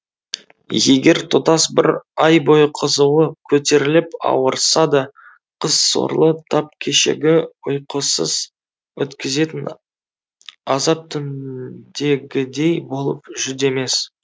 егер тұтас бір ай бойы қызуы көтеріліп ауырса да қыз сорлы тап кешегі ұйқысыз өткізетін азап түніндегідей болып жүдемес